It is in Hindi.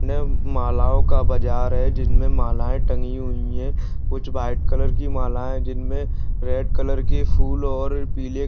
यह मालाओ का बाजार है जिनमे मालाएं टंगी हुई है कुछ व्हाइट कलर की माला है जिनमे रेड कलर के फूल और पीले --